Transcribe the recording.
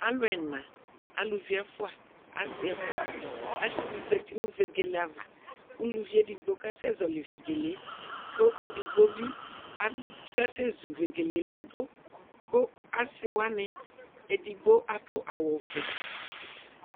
Alʋ ɛna alʋvi ɛfʋa asi ɛfʋa asizati nʋ vegele ava kʋ ʋlʋvi edigbo kasɛzɔli vegele kʋ edigbobi akasɛ zu vegele ladʋ kʋ asiwani edigbo adʋ awʋvɛ